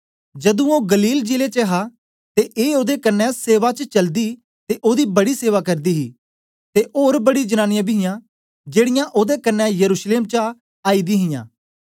जदू ओ गलील जिले च हा ते ए ओदे कन्ने सेवा च चलदी ते ओदी बड़ी सेवा करदी हां ते ओर बड़ी जनांनीयां बी हियां जेड़ीयां ओदे कन्ने यरूशलेम चा आईदी हियां